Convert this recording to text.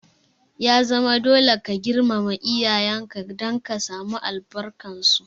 Ya zama dole ka girmama iyayen ka don ka samu albarkar su!